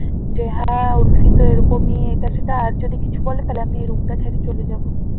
বেহায়া উর্ফি এরকমই এটা সেটা আর যদি কিছু বলে আমি এই room টা ছেড়ে চলে যাব